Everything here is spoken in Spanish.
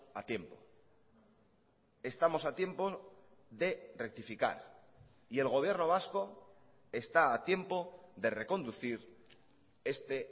a tiempo estamos a tiempo de rectificar y el gobierno vasco está a tiempo de reconducir este